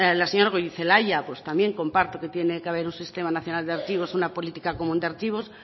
la señora goirizelaia también comparto que tiene que haber un sistema nacional de archivos una política común de archivos